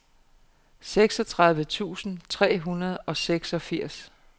seksogtredive tusind tre hundrede og seksogfirs